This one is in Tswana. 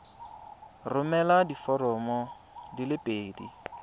romela diforomo di le pedi